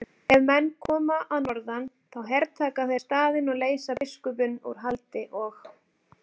Ef menn koma að norðan þá hertaka þeir staðinn og leysa biskupinn úr haldi og.